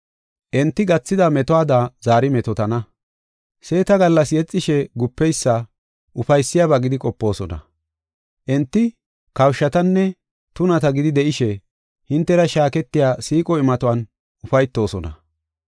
Enti gathida metuwada zaari metootana. Seeta gallas yexishe gupeysa ufaysiyabaa gidi qopoosona. Enti kawushatanne tunata gidi de7ishe hintera shaaketiya siiqo imatuwan ufaytoosona.